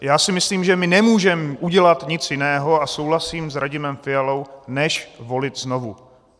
Já si myslím, že my nemůžeme udělat nic jiného - a souhlasím s Radimem Fialou - než volit znovu.